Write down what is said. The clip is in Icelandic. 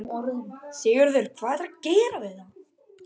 Sigurður: Hvað ætlarðu að gera við þetta?